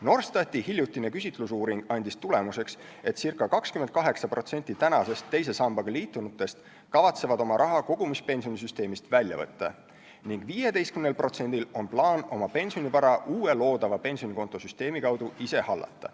Norstati hiljutine küsitlusuuring andis tulemuseks, et circa 28% praeguseks teise sambaga liitunutest kavatseb oma raha kogumispensionisüsteemist välja võtta ning 15%-l on plaan oma pensionivara uue loodava pensionikontosüsteemi kaudu ise hallata.